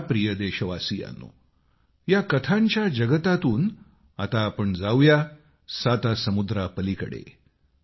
माझ्या प्रिय देशवासियांनो या कथांच्या जगतातून आता आपण जाऊया सातासमुद्रापलीकडे